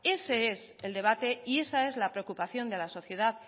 ese es el debate y esa es la preocupación de la sociedad